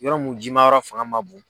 Yɔrɔ mun jimayɔrɔ fanga ma bon.